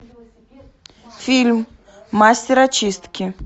фильм мастер очистки